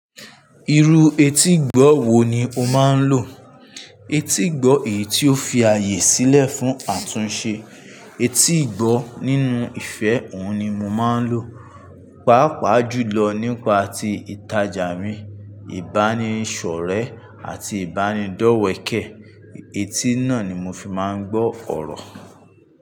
Irú etígbọ́ wo ni o máa ń lò? Etígbọ́ èyí tí ó fi ààyè sílẹ̀ fún àtúnṣe etígbọ́ nínú ìfẹ́ òun ni mo máa ń lò. Pàápàá jùlọ nípa ti ìtajà mi, ìbánisọ̀re àti ìbánidọ́wẹkẹ́. Etí náà ni mo fi máa ń gbọ́ ọ̀rọ̀